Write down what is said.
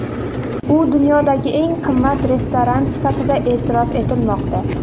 U dunyodagi eng qimmat restoran sifatida e’tirof etilmoqda.